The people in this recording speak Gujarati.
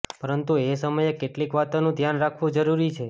પરંતુ એ સમયે કેટલીક વાતોનું ધ્યાન રાખવું જરૂરી છે